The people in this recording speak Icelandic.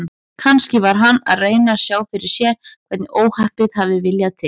Kannski var hann að reyna að sjá fyrir sér hvernig óhappið hafði viljað til.